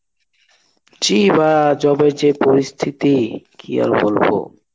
জি ভাই job এর যে পরিস্থিতি কি আর বলবো.